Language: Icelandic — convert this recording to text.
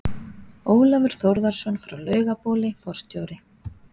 Ólafur Þórðarson frá Laugabóli, forstjóri